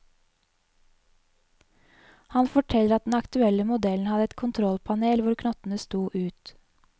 Han forteller at den aktuelle modellen hadde et kontrollpanel hvor knottene sto ut.